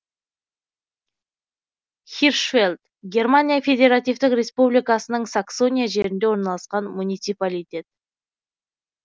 хиршфельд германия федеративтік республикасының саксония жерінде орналасқан муниципалитет